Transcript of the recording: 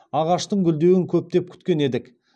ағаштың гүлдеуін көптен күткен едік